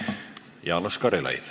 Jaanus Karilaid.